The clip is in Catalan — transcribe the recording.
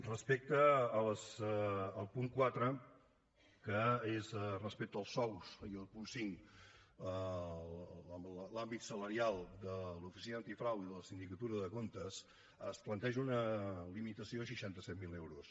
respecte al punt quatre que és respecte als sous i al punt cinc l’àmbit salarial de l’oficina antifrau i de la sindicatura de comptes es planteja una limitació a seixanta set mil euros